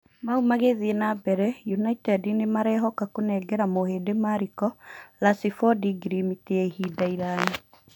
Mau magĩthiĩ na mbere Inaited nĩmarehoka kũnengera mũhĩndi Mariko Racibodi ngirimiti ya ihinda iraya.